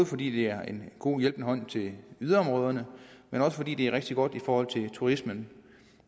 fordi det er en god hjælpende hånd til yderområderne men også fordi det er rigtig godt i forhold til turismen